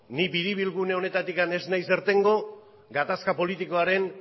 ni biribilgune honetatik ez naiz irtengo gatazka politikoaren